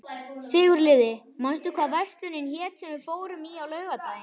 Sigurliði, manstu hvað verslunin hét sem við fórum í á laugardaginn?